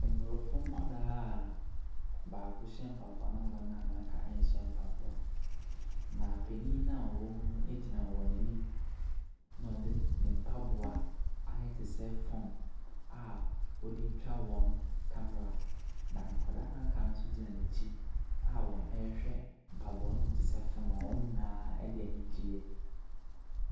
Abrɔfo nkwadaa baako hyɛ mpaboa na wɔn a aka nhyɛ mpaboa. Na panyin na ɔwɔ mu no egyina wɔn anim ɛna ɔde ne mpaboa ayɛ te sɛ phone a ɔdetwa wɔn camera. Na nkwadaa noa aka no nso gyina nɛkyi a ɔrehwɛ mpaboa no mu te sɛ phone. Wɔn nyinaa de anigyeɛ.